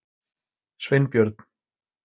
Sveinbjörn